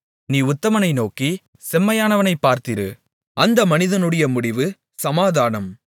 நீ உத்தமனை நோக்கி செம்மையானவனைப் பார்த்திரு அந்த மனிதனுடைய முடிவு சமாதானம்